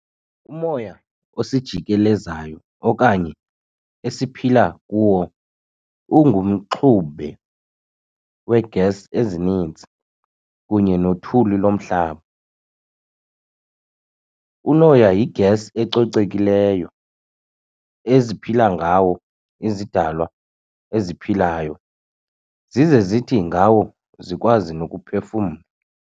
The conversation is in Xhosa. Umoya osijikeleziyo okanye esiphila kuwo ungumxube wee-gas ezininzi kunye nothuli lomhlaba. Unoya yi-gas ecocekileyo eziphila ngawo izidalwa eziphilayo, zize zithi ngawo zikwazi nokuphefumla.